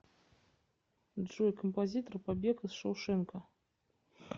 джой композитор побег из шоушенка